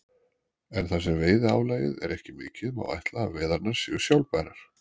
En þar sem veiðiálagið er ekki mikið má ætla að veiðarnar séu sjálfbærar.